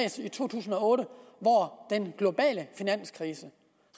i to tusind og otte hvor den globale finanskrise